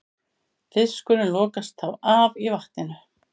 Fiskurinn lokast þá af í vatninu.